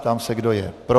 Ptám se, kdo je pro.